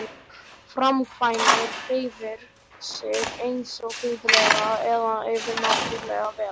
Hann talar, framkvæmir, hreyfir sig einsog guðleg eða yfirnáttúrleg vera.